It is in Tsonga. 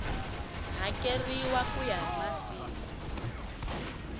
hakeriwa ku ya hi masiku